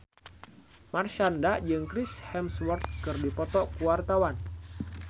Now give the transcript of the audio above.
Marshanda jeung Chris Hemsworth keur dipoto ku wartawan